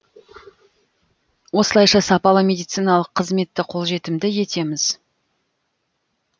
осылайша сапалы медициналық қызметті қолжетімді етеміз